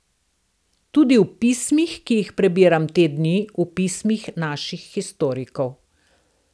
Tudi v pismih, ki jih prebiram te dni v Pismih naših historikov.